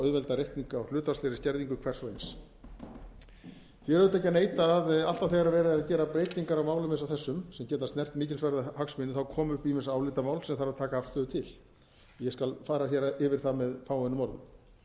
auðvelda reikning á hlutfallslegri skerðingu hvers og eins því er auðvitað ekki að neita að alltaf þegar verið er að gera breytingar á málum eins og þessum sem geta snert mikilsverða hagsmuni komu upp ýmis álitamál sem þarf að taka afstöðu til ég skal fara héryfir það með fáeinum orðum